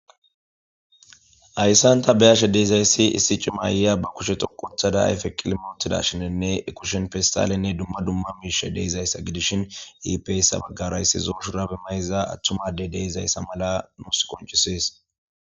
Hayssanta be'ashe de'izayssi issi cima ayiya ba kushe xoqothada ayfe qilmootida shinenne kushen fistalenne dumma dumma miishe deizayssa gidishin iipeyssa baggarayssi zooshurabi mayza atthumadey deizayssa mala nus qoncisees